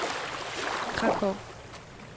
Krakow